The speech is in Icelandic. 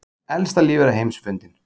Elsta lífvera heims fundin